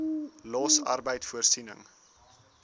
los arbeid voorsiening